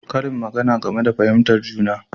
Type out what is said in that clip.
Karin magana game da fahimtar juna